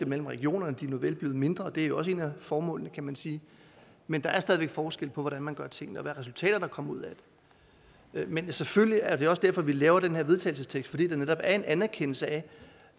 mellem regionerne nuvel blevet mindre og det er jo også et af formålene kan man sige men der er stadig væk forskel på hvordan man gør tingene og hvilke resultater der kommer ud af det men selvfølgelig er det også derfor vi laver den her vedtagelsestekst fordi det netop er en anerkendelse af